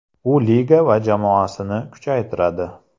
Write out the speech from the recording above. U liga va jamoasini kuchaytiradi.